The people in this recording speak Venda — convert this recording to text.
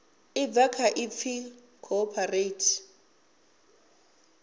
ḽi bva kha ipfi cooperate